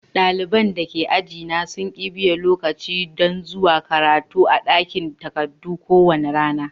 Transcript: Dalibain da ke aji na sun kibiye lokaci dan zuwa karatu a dakin takadu ko wani rana.